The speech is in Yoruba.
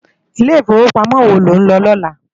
Ilé Ifówópámò wó ló n lò lòlá?